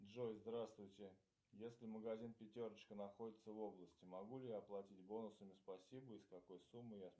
джой здравствуйте если магазин пятерочка находится в области могу ли я оплатить бонусами спасибо и с какой суммы я